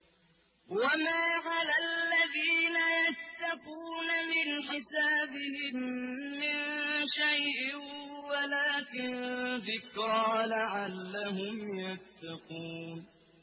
وَمَا عَلَى الَّذِينَ يَتَّقُونَ مِنْ حِسَابِهِم مِّن شَيْءٍ وَلَٰكِن ذِكْرَىٰ لَعَلَّهُمْ يَتَّقُونَ